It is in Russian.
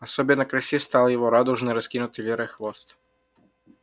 особенно красив стал его радужный раскинутый лирой хвост